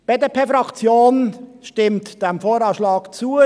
Die BDP-Fraktion stimmt dem VA zu.